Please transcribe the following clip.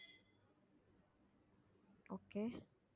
okay